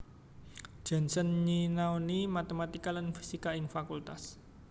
Janssen nyinaoni matematika lan fisika ing Fakultas